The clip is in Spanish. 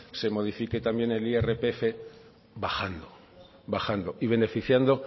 se modifique también el irpf bajando bajando y beneficiando